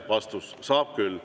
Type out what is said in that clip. Vastus: saab küll.